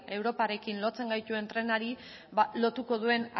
europarekin lotzen gaituen trenari ba lotuko duen